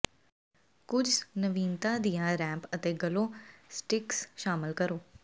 ਕੁਝ ਨਵੀਨਤਾ ਦੀਆਂ ਰੈਂਪ ਅਤੇ ਗਲੋ ਸਟਿਕਸ ਸ਼ਾਮਲ ਕਰੋ